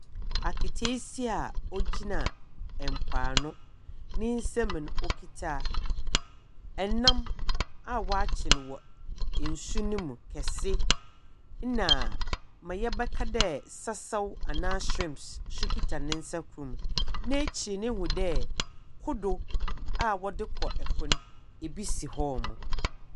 Aketeesia a ogyina mpoano, ne nsamu no, okita nam a ɔakye no nsuo no mu kɛse, na dza yɛbɛka dɛ sɛsɛw anaa shrimps nso kita ne nsa kor mu. N'ekyir no, ihu dɛ kodow a wɔdze kɔ po no bi si hɔ.